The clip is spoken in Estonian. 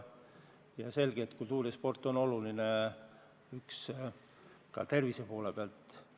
On selge, et kultuur ja sport on olulised ka tervise huvides.